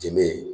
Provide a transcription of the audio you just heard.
Jenmin